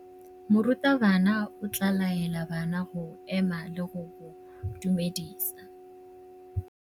Morutabana o tla laela bana go ema le go go dumedisa.